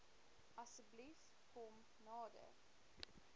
asseblief kom nader